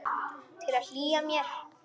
Til að hlýja mér.